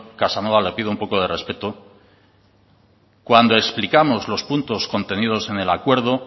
casanova le pido un poco de respeto cuando explicamos los puntos contenidos en el acuerdo